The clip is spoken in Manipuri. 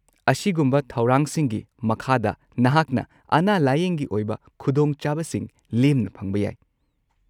ꯑꯁꯤꯒꯨꯝꯕ ꯊꯧꯔꯥꯡꯁꯤꯡꯒꯤ ꯃꯈꯥꯗ, ꯅꯍꯥꯛꯅ ꯑꯅꯥ-ꯂꯥꯌꯦꯡꯒꯤ ꯑꯣꯏꯕ ꯈꯨꯗꯣꯡꯆꯥꯕꯁꯤꯡ ꯂꯦꯝꯅ ꯐꯪꯕ ꯌꯥꯏ꯫